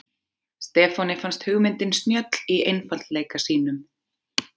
Stefáni fannst hugmyndin snjöll í einfaldleika sínum.